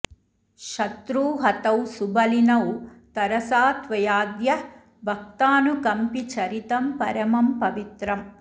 शत्रू हतौ सुबलिनौ तरसा त्वयाद्य भक्तानुकम्पि चरितं परमं पवित्रम्